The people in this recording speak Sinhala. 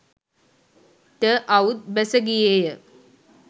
ට අවුත් බැස ගියේ ය.